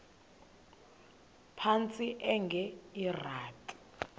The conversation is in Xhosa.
phantsi enge lrabi